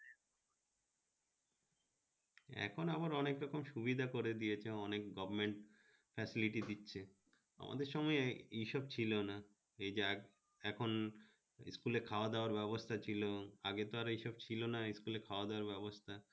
এখন আবার অনেক রকম সুবিধা করে দিয়েছে অনেক government দিচ্ছে, আমদের সময় এইসব ছিল না এই যে এক এখন school এ খাওয়া-দাওয়ার ব্যবস্থা ছিল আগে তো এইসব ছিল না school এ খাওয়া-দাওয়ার ব্যবস্থা